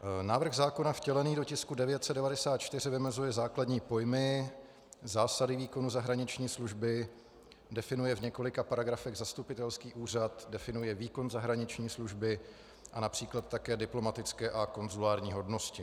Návrh zákona vtělený do tisku 994 vymezuje základní pojmy, zásady výkonu zahraniční služby, definuje v několika paragrafech zastupitelský úřad, definuje výkon zahraniční služby a například také diplomatické a konzulární hodnosti.